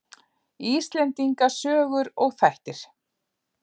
Íslendinga sögur og þættir.